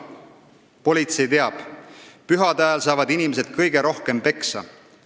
Politsei teab – pühade ajal saavad inimesed kõige rohkem peksa.